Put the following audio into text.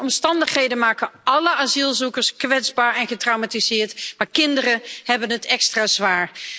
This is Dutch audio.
De omstandigheden maken alle asielzoekers kwetsbaar en getraumatiseerd, maar kinderen hebben het extra zwaar.